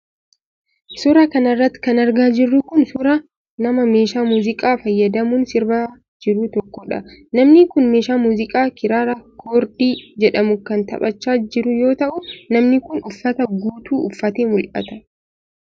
Suura kana irratti kan argaa jirru kun ,suura nama meeshaa muuziqaa fayyadamuun sirbaa jiru tokkoodha. Namni kun meeshaa muuziqaa kiraara koordii jedhamu kan taphachaa jiru yoo ta'u, namni kun uffata guutuu uffatee mul'ata.